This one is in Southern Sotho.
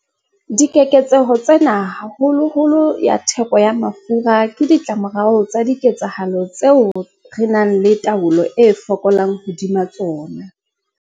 Dikeketseho tsena, haholoholo ya theko ya mafura, ke ditlamorao tsa diketsahalo tseo re nang le taolo e fokolang hodima tsona.